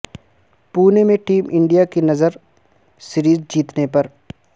پونے میں team India کی نظر سیریز جیتنے پر